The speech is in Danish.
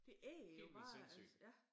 De æder jo bare altså ja